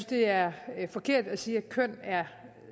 det er forkert at sige at køn